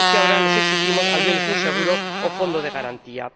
ahora les exigimos al menos un seguro o fondo de garantía.